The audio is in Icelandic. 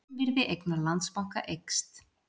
Raunvirði eigna Landsbanka eykst